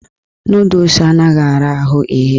Nọdụs anaghị ara ahụ ighe.